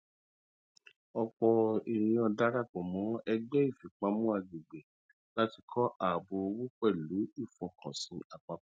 ọpọ ènìyàn darapọ mọ ẹgbẹ ìfipamọ agbègbè láti kọ ààbò owó pẹlú ìfọkànsìn àpapọ